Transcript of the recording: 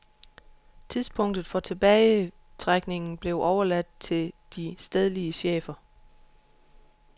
Tidspunktet for tilbagetrækningen blev overladt til de stedlige chefer.